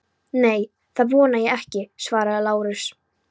Nei, það vona ég ekki, svaraði Lárus.